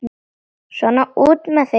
Svona, út með þig!